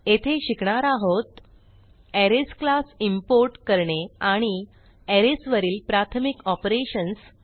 येथे शिकणार आहोत अरेज क्लास इम्पोर्ट करणे आणि अरेज वरील प्राथमिक ऑपरेशन्स